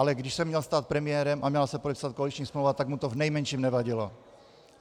Ale když se měl stát premiérem a měla se podepsat koaliční smlouva, tak mu to v nejmenším nevadilo.